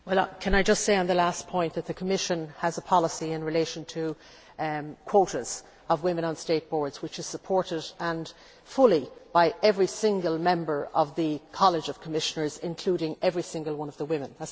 Can I just say on the last point that the Commission has a policy in relation to quotas of women on state boards which is fully supported by every single member of the College of Commissioners, including every single one of the women.